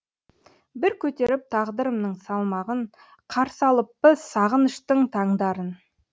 бір көтеріп тағдырымның салмағын қарсы алыппыз сағыныштың таңдарын